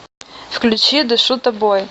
включи дышу тобой